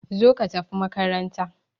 Zo ka tafi makaranta!